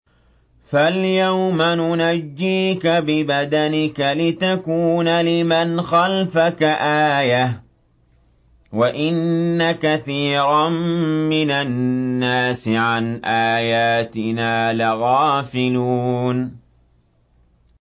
فَالْيَوْمَ نُنَجِّيكَ بِبَدَنِكَ لِتَكُونَ لِمَنْ خَلْفَكَ آيَةً ۚ وَإِنَّ كَثِيرًا مِّنَ النَّاسِ عَنْ آيَاتِنَا لَغَافِلُونَ